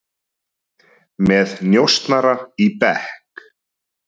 Með njósnara í bekk